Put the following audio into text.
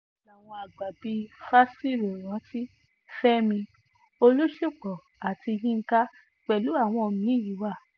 làwọn àgbà bíi fásiròrántí fẹ́mi olúṣúpó àti yinka pẹ̀lú àwọn mí-ín wa